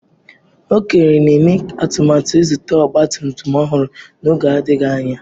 Okere na-eme atụmatụ ịzụta ọgba tum tum ọhụrụ n'oge adịghị anya.